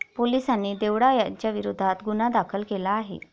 पोलिसांनी देवडा यांच्याविरोधात गुन्हा दाखल केला आहे.